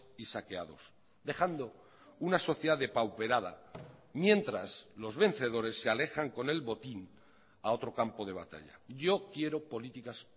y saqueados dejando una sociedad depauperada mientras los vencedores se alejan con el botín a otro campo de batalla yo quiero políticas